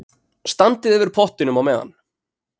Standið yfir pottinum á meðan.